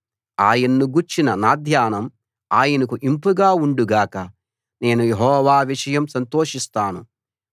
ఆయన్ను గూర్చిన నా ధ్యానం ఆయనకు ఇంపుగా ఉండు గాక నేను యెహోవా విషయం సంతోషిస్తాను